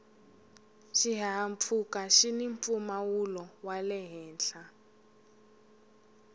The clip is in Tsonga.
xihahampfhuka xini mpfumawulo wale henhla